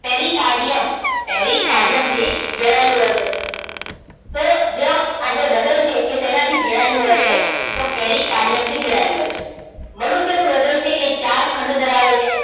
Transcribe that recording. પેરી કાર્ડિયમ pericardium થી ઘેરાયેલું હોય છે. તો જ આજે હૃદય છે એ શેનાથી ઘેરાયેલું હોય છે? તો પેરી કાર્ડિયમથી ઘેરાયેલું હોય છે. મનુષ્યનું હૃદય છે એ ચાર ખંડ ધરાવે છે.